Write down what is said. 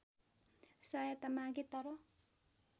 सहायता मागे तर